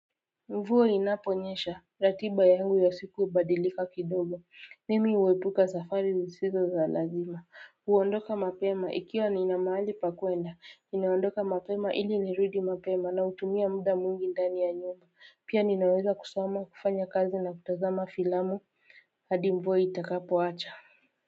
Mvua inaponyesha ratiba yangu ya siku hubadilika kidogo mimi huepuka safari zisizo za lazima huondoka mapema ikiwa nina mahali pa kuenda ninaondoka mapema ili nirudi mapema na hutumia muda mwingi ndani ya nyumba pia ninaweza kusoma kufanya kazi na kutazama filamu hadi mvua itakapoacha.